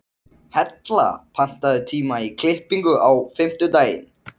Hella, pantaðu tíma í klippingu á fimmtudaginn.